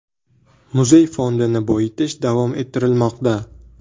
Muzey fondini boyitish davom ettirilmoqda.